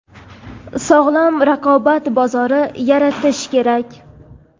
sog‘lom raqobat bozori yaratish kerak.